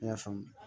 Ne y'a faamu